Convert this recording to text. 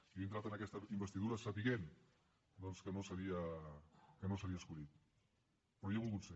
i jo he entrat en aquesta investidura sabent doncs que no seria escollit però hi he volgut ser